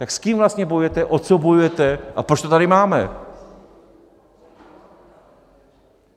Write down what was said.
Tak s kým vlastně bojujete, o co bojujete a proč to tady máme?